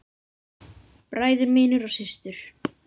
Bræður mínir og systur.